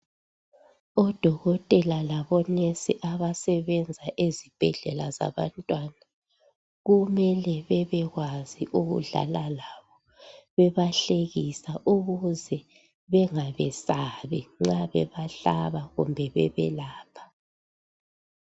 Odokotela labonesi abasebenza ezibhedlela zabantwana . Kumele bebekwazi ukudlala labo bebahlekisa ukuze bengabesabi nxa bebahlaba kumbe bebelapha .